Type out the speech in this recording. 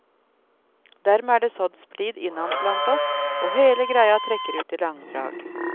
Dermed er det sådd splid innad blant oss, og hele greia trekker ut i langdrag.